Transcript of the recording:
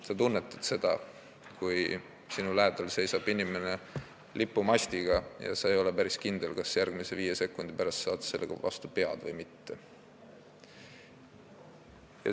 Sa tunnetad seda, kui sinu lähedal seisab inimene lipumastiga ja sa ei ole päris kindel, kas sa järgmise viie sekundi pärast saad sellega vastu pead või mitte.